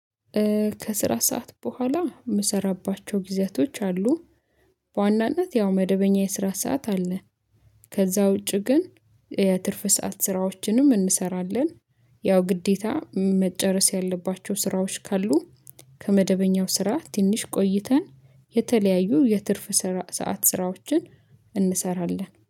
ከስራ ሰዓት በኋላ የምሰራባቸው ጊዜያቶች አሉ። በዋናነት ያው መደበኛ የስራ ሰዓት አለ። ከዛ ውጪ ግን የትርፍ ሰዓት ስራዎችንም እንሰራለን። ያው ግዴታ መጨረስ ያለባቸው ስራዎች ካሉ። ከመደበኛው ስራ ትንሽ ቆይተን የተለያዩ የትርፍ ሰዓት ስራዎችን እንሰራለን